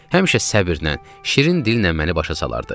Həmişə səbrlə, şirin dillə məni başa salardı.